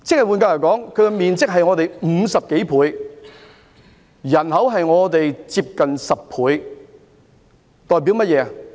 換言之，它的面積是我們的50多倍，人口差不多是我們的10倍。